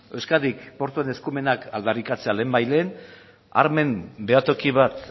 euskadik portuen eskumenak aldarrikatzea lehenbailehen armen behatoki bat